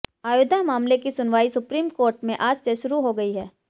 अयोध्या मामले की सुनवाई सुप्रीम कोर्ट में आज से शुरू हो गई है